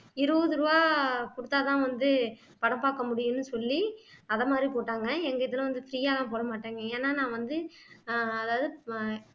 இருபது ரூபாய் குடுத்தாதான் வந்து படம் பாக்க முடியும்னு சொல்லி அதை மாதிரி போட்டாங்க எங்க இதுல வந்து free யா எல்லாம் போட மாட்டாங்க ஏன்னா நான் வந்து ஆஹ் அதாவது ப